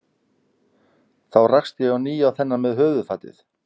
Þá rakst ég á ný á þennan með höfuðfatið.